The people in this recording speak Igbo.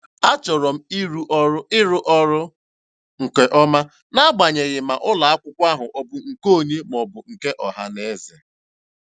A chọrọ m ịrụ ọrụ ịrụ ọrụ nke ọma, n'agbanyeghị ma ụlọakwụkwọ ahụ ọ bụ nke onye maọbụ nke ọhanaeze